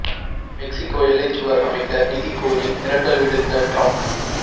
Mexico எல்லைச் சுவர் அமைக்க நிதி கோரி மிரட்டல் விடுத்த டிரம்ப்